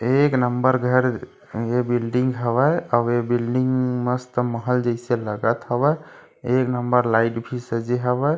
एक नंबर घर ये बिल्डिंग हावय अऊ ये बिल्डिंग मस्त महल जईसे लगत हावय एक नंबर लाइट भी सजे हावय--